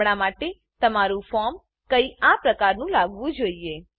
હમણાં માટે તમારું ફોર્મ કઈક આ પ્રકારનું લાગવું જોઈએ